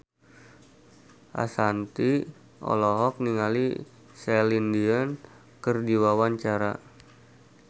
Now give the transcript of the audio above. Ashanti olohok ningali Celine Dion keur diwawancara